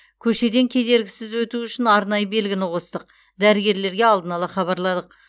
көшеден кедергісіз өту үшін арнайы белгіні қостық дәрігерлерге алдын ала хабарладық